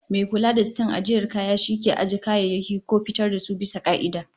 Mai kula da siton ajiyar kaya shi ke ajiye kayayyaki ko fitar da su bisa ka'ida